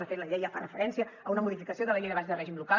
de fet la llei ja fa referència a una modificació de la llei de bases de règim local